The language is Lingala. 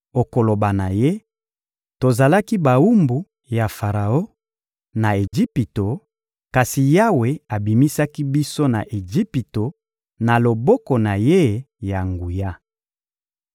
Okoloba na ye: Tozalaki bawumbu ya Faraon na Ejipito, kasi Yawe abimisaki biso na Ejipito na loboko na ye ya nguya.